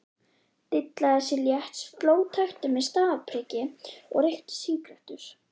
Dillaði sér létt, sló taktinn með stafpriki og reykti sígarettur.